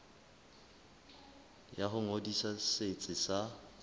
ya ho ngodisa setsi sa